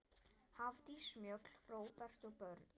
Hafdís Mjöll, Róbert og börn.